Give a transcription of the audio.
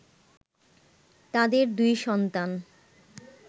তাদের দুই সন্তান